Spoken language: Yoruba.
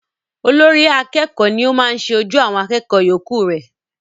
Olórí akẹ́kọ̀ọ́ ni o maá ṣe ojú àwọn akẹ́kọ̀ọ́ yọ̀ọ́kù re